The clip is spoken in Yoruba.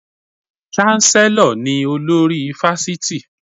Cháńsẹ́lọ̀ ni olórí Fáṣítì.